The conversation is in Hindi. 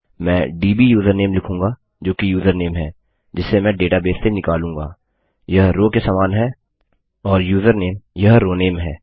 मैं दब् यूजरनेम लिखूँगा जो कि यूजरनेम है जिसे मैं डेटाबेस से निकालूँगा यह रोव के समान है और यूजरनेम यह रोनेम है